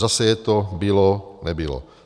Zase je to bylo - nebylo.